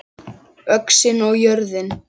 ÖXIN OG JÖRÐIN